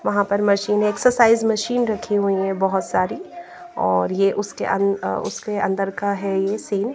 वहाँ पर मशीनें एक्सरसाइज मशीन रखी हुईं हैं बहुत सारी और ये उसके अं उसके अंदर का है ये सीन --